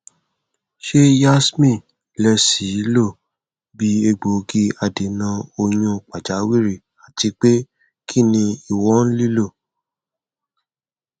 ṣe yasmin le ṣee lo bi egbogi adena oyun pajawiri atipe kini iwọn lilo